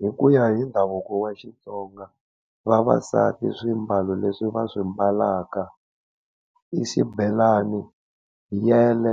Hi ku ya hi ndhavuko wa Xitsonga, vavasati swimbalo leswi va swi mbalaka i xibelani, yele,